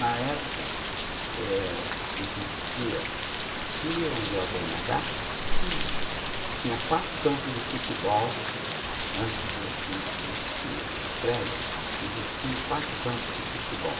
Na época, eh, existia, aqui onde é o bê ene agá, hm, tinha quatro campos de futebol, hm antes de existirem esses prédios, existiam quatro campos de futebol.